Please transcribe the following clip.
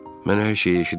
Mən hər şeyi eşidirdim.